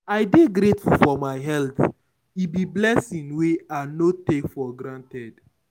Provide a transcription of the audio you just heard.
I dey grateful for my health; e be blessing wey I no take for granted.